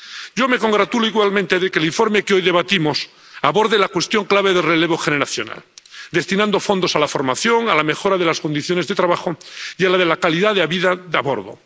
Yo me congratulo igualmente de que el informe que hoy debatimos aborde la cuestión clave del relevo generacional, destinando fondos a la formación, a la mejora de las condiciones de trabajo y a la de la calidad de vida a bordo.